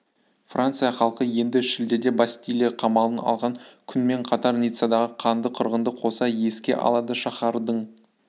франция халқы енді шілдеде бастилия қамалын алған күнмен қатар ниццадағы қанды қырғынды қоса еске алады шаһардың